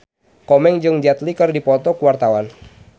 Komeng jeung Jet Li keur dipoto ku wartawan